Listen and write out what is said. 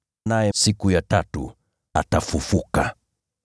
Naye siku ya tatu atafufuka.”